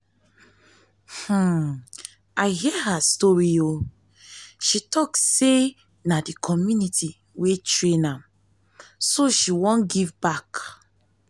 um i hear her story. o she talk say na the community wey train um her so she wan um give back